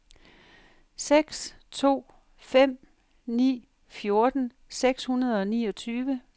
seks to fem ni fjorten seks hundrede og niogtyve